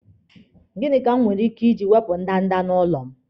Gịnị ka m nwere ike iji wepụ ndanda n'ụlọ m?